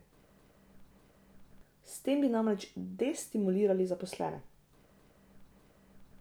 S tem bi namreč destimulirali zaposlene.